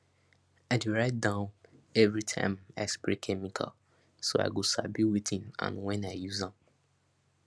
i dey write down every time i spray chemical so i go sabi wetin and when i use am